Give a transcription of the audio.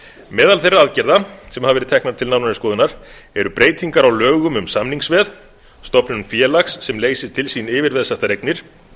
meðal þeirra aðgerða sem hafa verið teknar til nánari skoðunar eru breytingar á lögum um samningsveð stofnun félags sem leysir til sín yfirveðsettar eignir